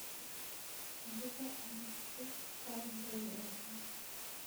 Andĩka ũndũ ũcio karenda-inĩ yakwa